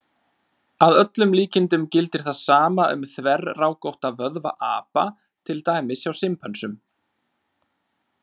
Að öllum líkindum gildir það sama um þverrákótta vöðva apa, til dæmis hjá simpönsum.